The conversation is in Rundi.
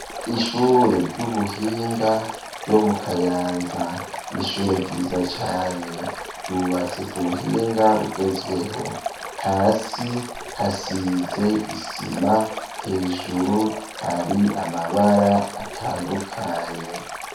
Ishure ry'ubuhinga ryo mu kayanza ,n'ishure ryiza cane ryubatse ku buhinga bugezweho, hasi hasize isima, hejuru hari amabara atandukanye.